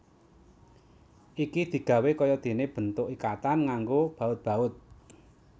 Iki digawé kaya dene bentuk ikatan nganggo baut baut